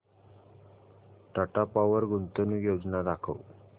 Tata power गुंतवणूक योजना दाखव